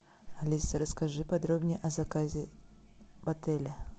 алиса расскажи подробнее о заказе в отеле